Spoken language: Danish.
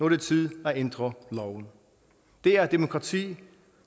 det tid at ændre loven det er demokrati